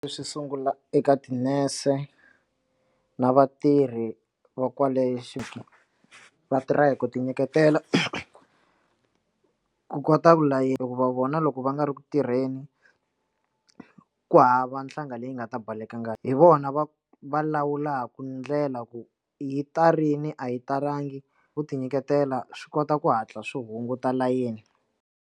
Leswi sungula eka tinese na vatirhi va kwale vatirha hi ku ti nyiketela ku kota ku ku va vona loko va nga ri ku tirheni ku hava nhlanga leyi nga ta balekela ngati hi vona va va lawulaku ndlela ku yi ta rin'we a yi talangi ku ti nyiketela swi kota ku hatla swi hunguta layeni.